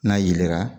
N'a yelenna